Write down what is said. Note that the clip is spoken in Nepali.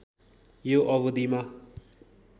यो अवधिमा